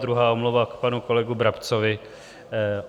Druhá omluva k panu kolegovi Brabcovi.